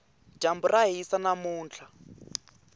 dyambu ra hisa namuntlha